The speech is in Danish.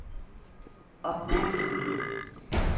opmærksomhed